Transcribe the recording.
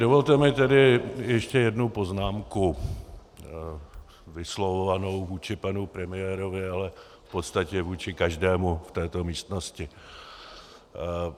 Dovolte mi tedy ještě jednu poznámku vyslovovanou vůči panu premiérovi, ale v podstatě vůči každému v této místnosti.